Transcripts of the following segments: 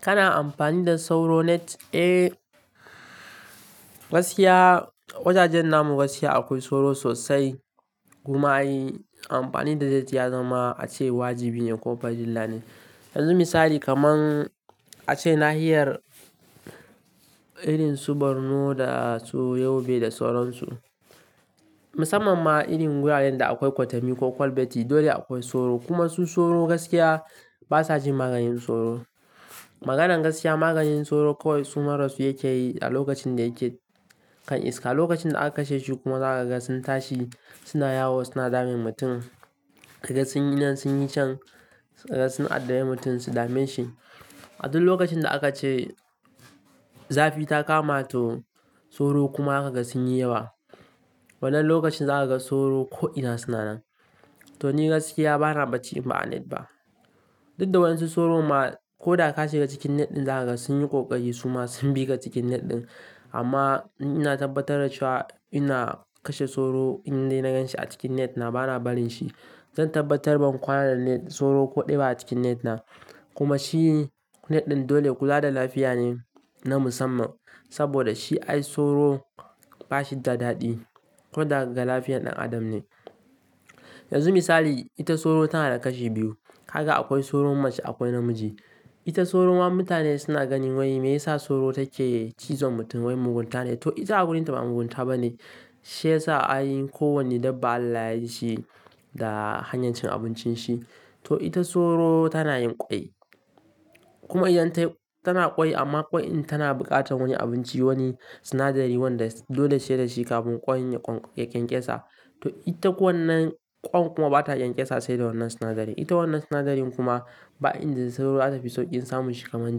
Kana amfani da sauro net? Eh, gaskiya wajajen namun gaskiya akwai sauro sosai. Kuma in yi amfani da ita ya zama ace wajibi ne ko farilla ne. Yanzu misali kaman ace nahiyar irin su Borno da su Yobe da sauran su. Musamman ma irin wuraren da akwai kwatami ko kwalbeti dole akwai sauro. Kuma su sauro gaskiya basa jin maganin sauro. Maganan gaskiya maganin sauro kawai suma rasu yake yi a lokacin da yake kan iska. Lokacin da aka kashe shi kuma za kaga sun tashi suna yawo suna damun mutum. Kaga sunyi nan sunyi can sun adda bi mutum su dame shi. A duk lokacin da aka ce zafi ta kama to sauro kuma zaka kaga sun yi yawa. Wannan lokacin za ka ga sauro ko ina suna nan. To ni gaskiya bana bacci in ba a net ba. Duk da wa yansu sauro ma ko da ka ka shiga cikin net ɗin zakaga sun yi ƙoƙari suma sun bi ka cikin net ɗin. Amma ina tabbatar da cewa ina kashe sauro in dai na gan shi a cikin net na bana barin shi. Zan tabbatar ban kwana da net sauro ko ɗaya ba a cikin net na. Kuma shi net ɗin dole kula da lafiya ne na musamman. Saboda shi ai sauro bashi da daɗi. Ko da daga lafiyan ɗan adam ne. Yanzu misali ita sauro tana da kashi biyu. Kaga akwai sauro mace akwai namiji. Ita sauro ma mutane suna ganin wai me yasa sauro take cizon mutum wai mugunta ne. To ita a wurinta ba mugunta ba ne. Shi yasa ay kowanne dabba Allah yayi shi da hanyar cin abincin shi. To ita sauro tana yin ƙwai. Kuma idan tayi tana ƙwai amma ƙwai in tana buƙatan wani abinci wani sinadari wanda dole sai da shi kafin ƙwain yaƙenƙesa. To ita kwa wannan ƙwan kuma bata ƙyanƙyasa sai da wannan sinadari. Ita wannan sinadarin kuma ba inda dai sauro zata fi sauƙin samun shi kaman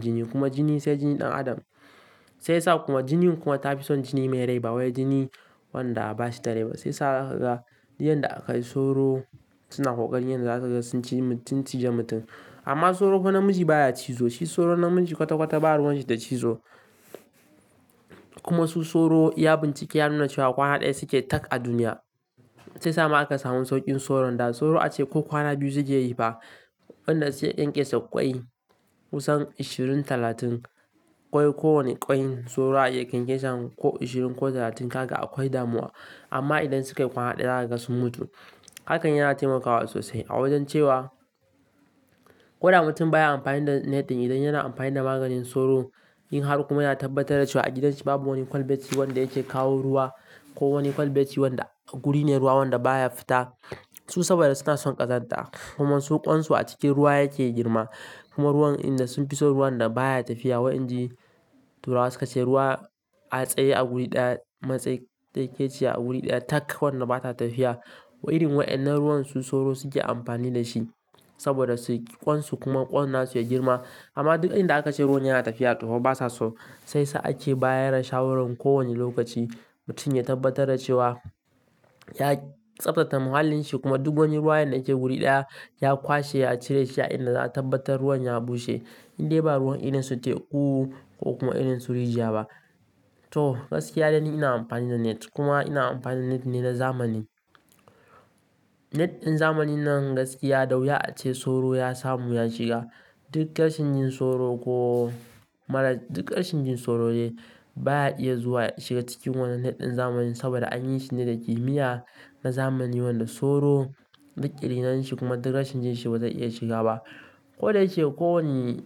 jini. Kuma jini sai jini ɗan adam. Sai sa kuma jinin kuma tafi son jini mai rai ba wai jini wanda bashi da rai ba. Sai sa zaka ga duk yanda akayi sauro suna ƙoƙarin yadda za su ci mutum cije mutum. Amma sauro ko namiji baya cizo. Shi sauro namiji kwata-kwata ba ruwan shi da cizo. Kuma su sauro iya bincike ya nuna cewa kwana ɗaya suke tak a duniya. Sai sama aka samu sauƙin sauron da. Sauro ace ko kwana biyu sukeyi yi fa. Wanda sai ya ƙyanƙyasa ƙwai kusan ashirin talatin ƙwai. Ko wani ƙwai sauro zaya iya ƙyanƙyasan ko ashirin ko talatin kaga akwai damuwa. Amma idan su kai kwana ɗaya zaka ga sun mutu. Hakan yana taimakawa sosai a wajen cewa ko da mutum baya amfani da net ɗin idan yana amfani da maganin sauro. In har kuma yana tabbatar da cewa a gidanshi babu wani kwalbeti wanda yake kawo ruwa. Ko wani kwalbeti wanda guri ne ruwa wanda baya fita. Su saboda suna son ƙazanta. Kuma su ƙwansu a cikin ruwa yake girma. Kuma ruwan in da sun fi son ruwan da baya tafiya. Wai inji turawa suke cewa ruwa a tsaye a wuri ɗaya matse yake ce a wuri ɗaya tak wanda bata tafiya. Wa irin waɗannan ruwan su sauro suke amfani da shi. Saboda su ƙwansu kuma ƙwansu ya girma. Amma duk inda aka ce ruwan yana tafiya tofa ba sa so. Sai sa ake bayar da shawarar kowane lokaci mutum ya tabbatar da cewa ya tsabtace muhallin shi. Kuma duk wani ruwa yanda yake wuri ɗaya ya kwashe ya cire shi. A inda za'a tabbatar ruwan ya bushe. In dai ba ruwan irin su teku ko kuma irin su rijiya ba. To gaskiya dai ni ina amfani da net. Kuma ina amfani da net ne na zamani. Net ɗin zamanin nan gaskiya da wuya a ce sauro ya samu ya shiga. Duk ƙarshen jin sauro ko marar duk ƙarshen jin sauro dai. Baya iya zuwa shiga cikin wannan net ɗin zamanin. Saboda an yi shi ne da kimiyya na zamani wanda sauro duk ƙiriniyan shi kuma duk rashin jin shi bazai iya shiga ba. Ko da yake ko wani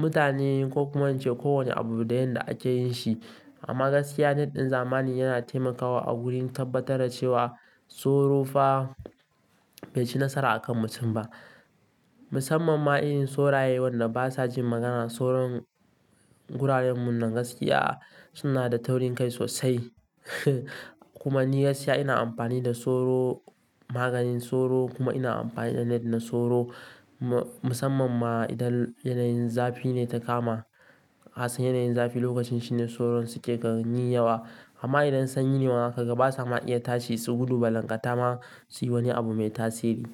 mutane ko kuma ace ko wane abu da yanda ake yin shi. Amma gaskiya net ɗin zamani yana taimakawa a wurin tabbatar da cewa sauro fa bai ci nasara a kan mutum ba. Musamman ma irin soraye wanda basa jin magana. Soron guraren mu nan gaskiya suna da taurinkai sosai. Kuma ni gaskiya ina amfani da sauro maganin sauro kuma ina amfani da net na sauro. Musamman ma idan yanayin zafi ne ta kama. Kasan yanayin zafi lokacin shine soron suke kai yi yawa. Amma idan sanyi ne ma zakaga basa ma iya tashi su gudu ba. Lanƙata ma suyi wani abu mai tasiri.